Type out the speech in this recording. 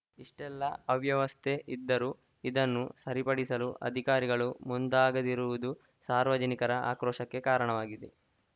ಇಷ್ಟೆಲ್ಲ ಅವ್ಯವಸ್ಥೆ ಇದ್ದರೂ ಇದನ್ನು ಸರಿಪಡಿಸಲು ಅಧಿಕಾರಿಗಳು ಮುಂದಾಗದಿರುವುದು ಸಾರ್ವಜನಿಕರ ಆಕ್ರೋಶಕ್ಕೆ ಕಾರಣವಾಗಿದೆ